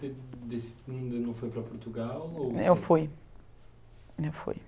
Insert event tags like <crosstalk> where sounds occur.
você <unintelligible> ainda não foi para Portugal ou você? Eu fui, eu fui